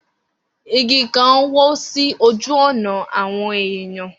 Igi kan wó sí ojú ọ̀nà áwọn èyàn.